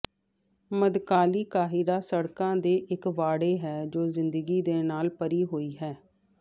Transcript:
ਮੱਧਕਾਲੀ ਕਾਹਿਰਾ ਸੜਕਾਂ ਦੇ ਇੱਕ ਵਾੜੇ ਹੈ ਜੋ ਜ਼ਿੰਦਗੀ ਦੇ ਨਾਲ ਭਰੀ ਹੋਈ ਹੈ